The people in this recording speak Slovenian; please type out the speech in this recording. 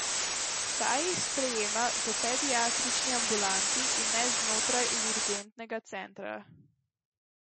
Ta jih sprejema v pediatrični ambulanti in ne znotraj urgentnega centra.